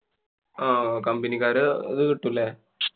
ആഹ് company ക്കാരെ അത് കിട്ടും ല്ലേ?